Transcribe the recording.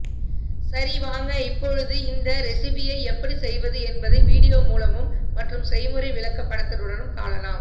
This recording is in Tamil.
சரி வாங்க இப்பொழுது இந்த ரெசிபியை எப்படி செய்வது என்பதை வீடியோ மூலமும் மற்றும் செய்முறை விளக்க படத்துடனும் காணலாம்